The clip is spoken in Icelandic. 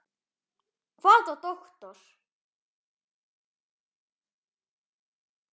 Hvaða doktor?